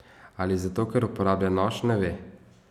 Ali zato, ker uporablja nož, ne ve.